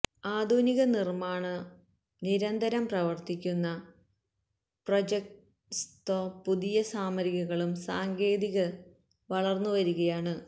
ആധുനിക നിർമ്മാണ ൽ നിരന്തരം പ്രവർത്തിക്കുന്നു പ്രൊഇജ്വൊസ്ത്വൊ പുതിയ സാമഗ്രികളും സാങ്കേതിക വളർന്നുവരികയാണ്